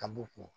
Ka b'u kun